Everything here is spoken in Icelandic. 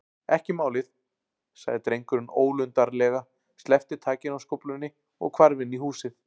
Ekki málið- sagði drengurinn ólundarlega, sleppti takinu á skóflunni og hvarf inn í húsið.